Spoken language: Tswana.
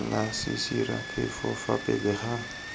la sesiraphefo fa pele ga